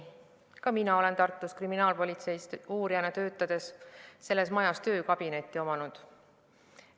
Ka mina olen Tartu kriminaalpolitseis uurijana töötades selles majas töökabinetti omanud.